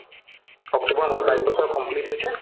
october মাহত বাইছ বছৰ complete হৈছে